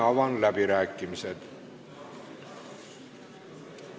Avan läbirääkimised.